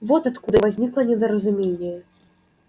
вот откуда возникло недоразумение